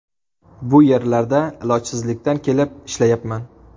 Bu yerlarda ilojsizlikdan kelib ishlayapman.